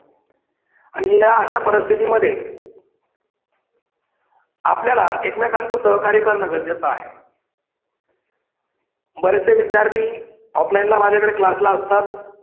आणि या अशा परिस्थितीमध्ये आपल्याला एकमेकांच सहकार्य करण गरजेचे आहे. बरेचसे विद्यार्थी offline ला माझ्याकडे class ला असतात